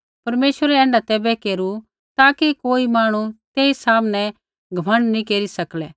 परमेश्वरै ऐण्ढा तैबै केरू ताकि कोई मांहणु तेई सामनै घमण्ड नैंई केरी सकलै